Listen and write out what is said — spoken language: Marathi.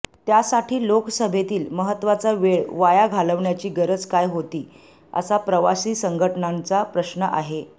त्यासाठी लोकसभेतील महत्वाचा वेळ वाया घालवण्याची गरज काय होती असा प्रवासी संघटनांचा प्रश्न आहे